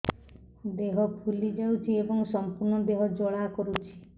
ଦେହ ଫୁଲି ଯାଉଛି ଏବଂ ସମ୍ପୂର୍ଣ୍ଣ ଦେହ ଜ୍ୱାଳା କରୁଛି